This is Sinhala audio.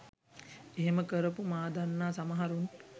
එහෙම කරපු මා දන්නා සමහරුන්